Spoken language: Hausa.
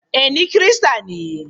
Ee, ni Kirista ne.